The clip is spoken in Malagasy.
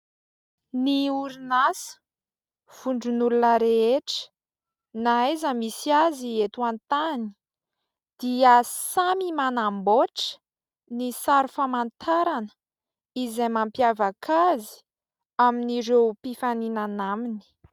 Ny orinasa vondron'olona rehetra na aiza misy azy eto an-tany dia samy manamboatra ny sary famantarana izay mampiavaka azy amin'ireo mpifaninana aminy.